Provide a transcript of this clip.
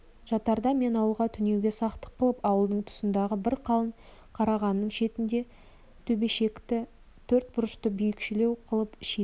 жатарда мен ауылға түнеуге сақтық қылып ауылдың тұсындағы бір қалың қарағанның шетінде төбешіктегі төрт бұрышты биікшелеу қылып шикі